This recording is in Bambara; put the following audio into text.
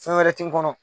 Fɛn wɛrɛ ti n kɔnɔ